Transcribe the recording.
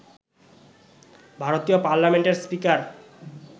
ভারতীয় পার্লামেন্টের স্পিকার